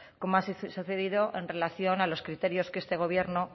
como ha sucedido en relación a los criterios que este gobierno